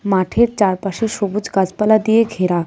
মাঠের চারপাশে সবুজ গাছপালা দিয়ে ঘেরা .